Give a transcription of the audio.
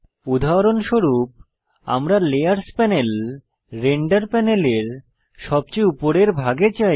উদাহরণস্বরূপ আমরা layers panel render প্যানেলের সবচেয়ে উপরের ভাগে চাই